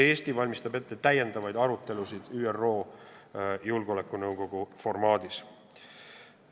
Eesti valmistab ette täiendavaid arutelusid ÜRO Julgeolekunõukogu formaadis.